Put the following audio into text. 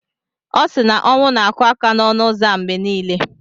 Ọ sị na ọnwụ na-akụ aka n'ọnụ ụzọ a mgbe niile.